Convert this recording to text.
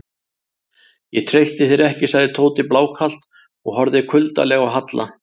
Ég treysti þér ekki sagði Tóti blákalt og horfði kuldalega á Halla.